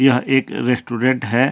यह एक रेस्टोरेंट हैं।